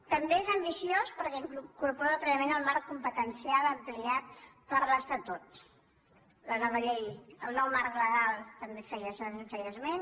també és ambiciós perquè incorpora plenament el marc competencial ampliat per l’estatut la nova llei el nou marc legal també en feia esment